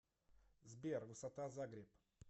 сбер высота загреб